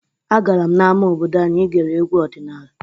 Agara m n'ama obodo anyị igere egwu ọdịnala.